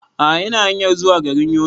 A'a ina hanyar zuwa garin Yobe